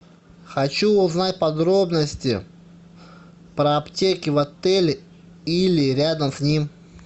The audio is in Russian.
хочу узнать подробности про аптеки в отеле или рядом с ним